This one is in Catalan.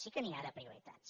sí que n’hi ha de prioritats